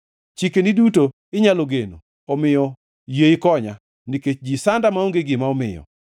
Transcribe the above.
Chikeni duto inyalo geno; omiyo yie ikonya, nikech ji sanda maonge gima omiyo.